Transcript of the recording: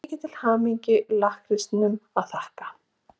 Mikið til hamingju-lakkrísnum að þakka.